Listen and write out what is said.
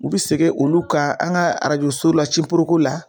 U be sege olu kan an ka arajoso la ciporoko la